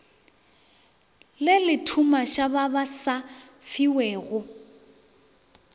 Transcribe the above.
le lethumaša ba sa fiwego